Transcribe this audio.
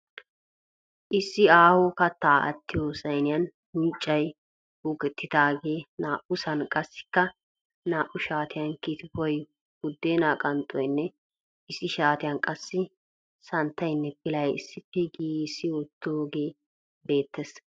Issi aaho kattaa attiyo sayiniyanunccay uukettidaagee naa"usan, qassikka naa"u shaatiyan kitfoy, buddeenaa qanxxoynne issi shaatiyan qassi santtayinne pilay issippe giigissi wottoogee beettes.